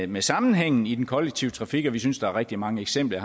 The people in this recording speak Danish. med sammenhængen i den kollektive trafik og vi synes at der er rigtig mange eksempler